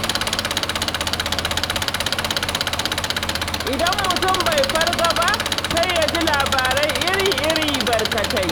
Idan mutum bai farga ba, sai ya ji labarai iri-iri, barkatai.